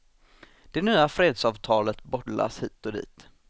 Det nya fredsavtalet bollas hit och dit.